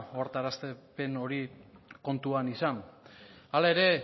ohartarazpen hori kontuan izan hala ere